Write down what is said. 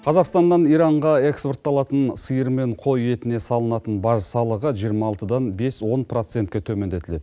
қазақстаннан иранға экспортталатын сиыр мен қой етіне салынатын баж салығы жиырма алтыдан бес он процентке төмендетіледі